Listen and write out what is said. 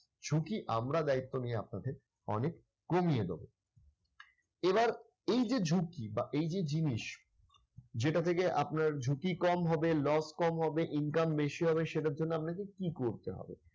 ঝুঁকি আমরা দায়িত্ব নিয়ে আপনাদের অনেক কমিয়ে দেব। এবার এই যে ঝুঁকি বা এই যে জিনিস। যেটা থেকে আপনার ঝুঁকি কম হবে loss কম হবে income বেশি হবে সেটার জন্য আপনাকে কি করতে হবে?